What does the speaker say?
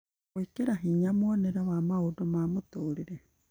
na gwĩkĩra hinya mwonere wa maũndũ ma mũtũrĩre